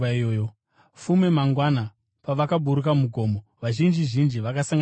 Fume mangwana, pavakaburuka mugomo, vazhinji zhinji vakasangana naye.